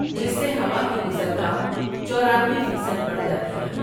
جس سے ہوا کی گزرگاہ چورانوے فیصد بڑھ جاتی ہے ۔